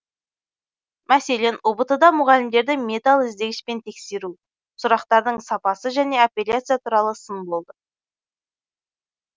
мәселен ұбт да мұғалімдерді металл іздегішпен тексеру сұрақтардың сапасы және апелляция туралы сын болды